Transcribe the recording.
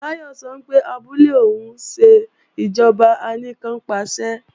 Báyọ̀ sọ pé abúlé òun ń ṣe ìjọba anìkannpàṣẹ